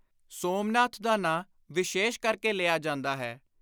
ਸੋਮਨਾਥ ਦਾ ਨਾਂ ਵਿਸ਼ੇਸ਼ ਕਰਕੇ ਲਿਆ ਜਾਂਦਾ ਹੈ।